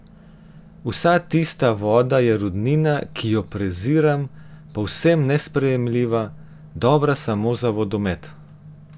Vsa tista voda je rudnina, ki jo preziram, povsem nesprejemljiva, dobra samo za vodomet.